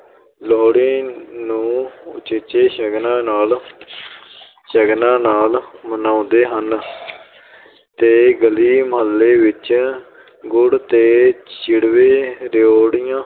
ਲੋਹੜੀ ਨੂੰ ਉਚੇਚੇ ਸ਼ਗਨਾਂ ਨਾਲ ਸ਼ਗਨਾਂ ਨਾਲ ਮਨਾਉਂਦੇ ਹਨ ਤੇ ਗਲੀ ਮਹੱਲੇ ਵਿੱਚ ਗੁੜ ਤੇ ਚਿੜਵੇ-ਰਿਓੜੀਆਂ